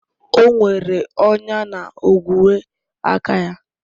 O nwere ọnya na ogwe aka ya